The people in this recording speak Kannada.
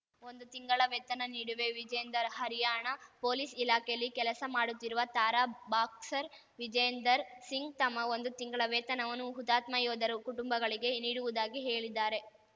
ಒಂದು ತಿಂಗಳ ವೇತನ ನೀಡುವೆ ವಿಜೇಂದರ್‌ ಹರ್ಯಾಣ ಪೊಲೀಸ್‌ ಇಲಾಖೆಯಲ್ಲಿ ಕೆಲಸ ಮಾಡುತ್ತಿರುವ ತಾರಾ ಬಾಕ್ಸರ್‌ ವಿಜೇಂದರ್‌ ಸಿಂಗ್‌ ತಮ್ಮ ಒಂದು ತಿಂಗಳ ವೇತನವನ್ನು ಹುತಾತ್ಮ ಯೋಧರ ಕುಟುಂಬಗಳಿಗೆ ನೀಡುವುದಾಗಿ ಹೇಳಿದ್ದಾರೆ